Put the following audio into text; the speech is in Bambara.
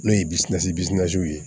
N'o ye ye